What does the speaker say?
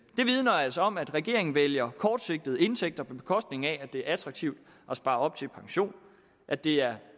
det vidner altså om at regeringen vælger kortsigtede indtægter på bekostning af at det er attraktivt at spare op til pension at det er